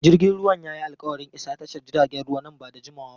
Jirgin ruwan ya yi alƙawarin isa tashar jiragen ruwa nan ba da jimawa ba.